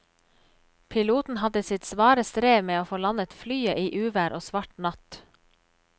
Piloten hadde sitt svare strev med å få landet flyet i uvær og svart natt.